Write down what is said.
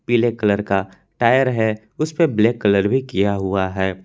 पीले कलर का टायर है उस पे ब्लैक कलर भी किया हुआ है।